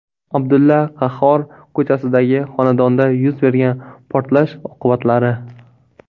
Abdulla Qahhor ko‘chasidagi xonadonda yuz bergan portlash oqibatlari.